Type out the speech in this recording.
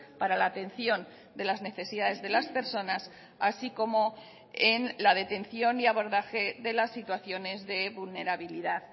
para la atención de las necesidades de las personas así como en la detención y abordaje de las situaciones de vulnerabilidad